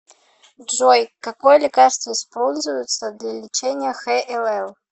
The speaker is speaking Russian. джой какое лекарство используется для лечения хлл